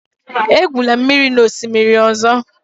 Egwula mmiri n'osimiri ọzọ!